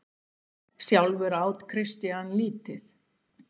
Sjálfur át Christian lítið.